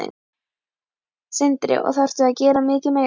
Sindri: Og þarftu að gera mikið meira?